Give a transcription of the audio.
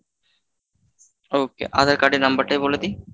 okay Aadhaar card এর number টায় বলে দিই।